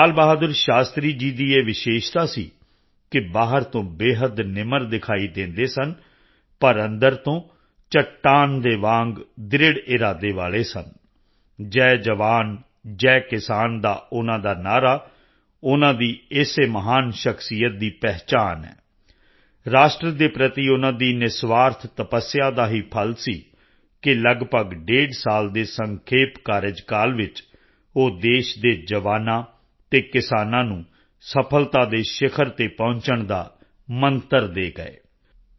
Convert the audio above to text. ਲਾਲ ਬਹਾਦੁਰ ਸ਼ਾਸਤਰੀ ਜੀ ਦੀ ਇਹ ਵਿਸ਼ੇਸ਼ਤਾ ਸੀ ਕਿ ਬਾਹਰ ਤੋਂ ਬੇਹੱਦ ਨਿਮਰ ਦਿਖਾਈ ਦਿੰਦੇ ਸਨ ਪਰ ਅੰਦਰ ਤੋਂ ਚੱਟਾਨ ਦੇ ਵਾਂਗ ਦ੍ਰਿੜ੍ਹ ਇਰਾਦੇ ਵਾਲੇ ਸਨ ਜੈ ਜਵਾਨਜੈ ਕਿਸਾਨ ਦਾ ਉਨ੍ਹਾਂ ਦਾ ਨਾਅਰਾ ਉਨ੍ਹਾਂ ਦੀ ਇਸੇ ਮਹਾਨ ਸਖ਼ਸ਼ੀਅਤ ਦੀ ਪਹਿਚਾਣ ਹੈ ਰਾਸ਼ਟਰ ਦੇ ਪ੍ਰਤੀ ਉਨ੍ਹਾਂ ਦੀ ਨਿਰਸਵਾਰਥ ਤਪੱਸਿਆ ਦਾ ਹੀ ਫ਼ਲ ਸੀ ਕਿ ਲਗਭਗ ਡੇਢ ਸਾਲ ਦੇ ਸੰਖੇਪ ਕਾਰਜਕਾਲ ਵਿੱਚ ਉਹ ਦੇਸ਼ ਦੇ ਜਵਾਨਾਂ ਅਤੇ ਕਿਸਾਨਾਂ ਨੂੰ ਸਫ਼ਲਤਾ ਦੇ ਸ਼ਿਖਰ ਤੇ ਪਹੁੰਚਣ ਦਾ ਮੰਤਰ ਦੇ ਗਏ